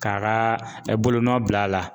K'a ka bolonɔ bila a la